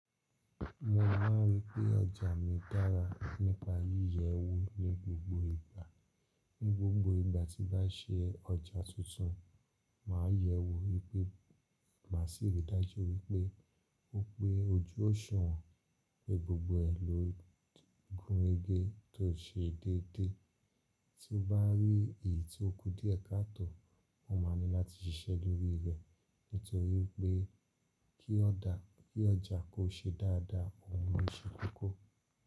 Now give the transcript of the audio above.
Mo máà ń rí pé ọjà mi dára nípa yíyẹ wo ní gbogbo ìgbà. Ní gbogbo ìgbà tí bá ṣe ọjà tuntun, màá yẹ wo wípé máṣi rí dájú wípé ó pé ojú ọṣuwon, pé gbogbo ẹ̀ ló gúnrege tó ṣe déédéé. Tí o bá rí èyí tí ó kú dié ka tò, mo máa ní láti ṣiṣẹ́ lórí rẹ̀ nítorí pé kí ọjà ko ṣe dáadáa, òhun ló ṣe kókó.